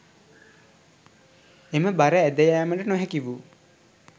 එම බර ඇද යාමට නොහැකි වූ